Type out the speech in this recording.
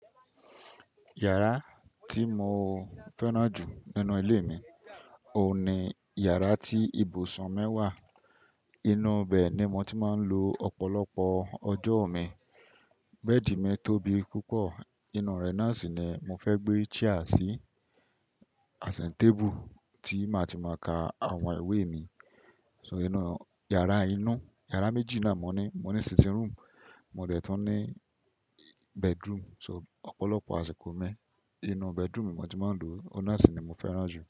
Yàrá tí mo fẹ́ràn jù nínú ilé mi, òun ni yàrá tí ibùsùn mí wà, inúù ibẹ̀ ni mo ti máa ń lo ọ̀pọ̀lọpọ̀ ọjọ́ mi. Bẹ́ẹ̀dì mi tóbi púpọ̀, inú rẹ̀ náà sì ni mo fẹ́ gbé chair sí, asin tébù tí màá ti máa ka àwọn ìwé mi. So inú yàrá inú, yàrá méjì ni a mọ ní, mo ní sitting room, mo dẹ̀ tún ní bedroom. So ọ̀pọ̀lọpọ̀ àsìkò mi inú bedroom mi mo ti máa ń lo, ó náà sì ni mo fẹ́ràn jù.